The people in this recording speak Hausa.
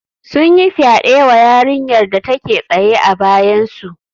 Sun yi fyaɗe wa yarinyar da take tsaye a bayansu